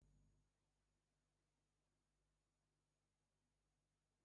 A na-eji mmanụ injin na-echekwa ọgbatumtum.